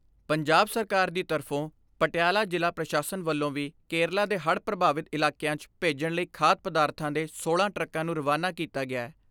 ਪੰਜਾਬ ਸਰਕਾਰ ਦੀ ਤਰਫ਼ੋਂ ਪਟਿਆਲਾ ਜ਼ਿਲ੍ਹਾ ਪ੍ਰਸ਼ਾਸਨ ਵੱਲੋਂ ਵੀ ਕੇਰਲਾ ਦੇ ਹੜ੍ਹ ਪ੍ਰਭਾਵਿਤ ਇਲਾਕਿਆਂ 'ਚ ਭੇਜਣ ਲਈ ਖਾਧ ਪਦਾਰਥਾਂ ਦੇ ਸੋਲਾਂ ਟਰੱਕਾਂ ਨੂੰ ਰਵਾਨਾ ਕੀਤਾ ਗਿਐ।